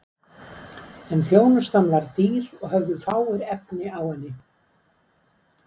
En þjónustan var dýr og höfðu fáir efni á henni.